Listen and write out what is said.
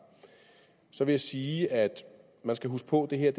så vil jeg sige at man skal huske på at det her